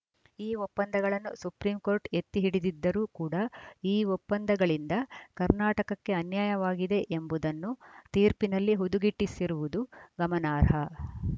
ಈ ಒಪ್ಪಂದಗಳನ್ನು ಸುಪ್ರೀಂಕೋರ್ಟ್‌ ಎತ್ತಿ ಹಿಡಿದಿದ್ದರೂ ಕೂಡ ಈ ಒಪ್ಪಂದಗಳಿಂದ ಕರ್ನಾಟಕಕ್ಕೆ ಅನ್ಯಾಯವಾಗಿದೆ ಎಂಬುದನ್ನು ತೀರ್ಪಿನಲ್ಲಿ ಹುದುಗಿಸಿಟ್ಟಿರುವುದು ಗಮನಾರ್ಹ